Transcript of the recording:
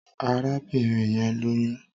Arábìnrin yẹn lóyún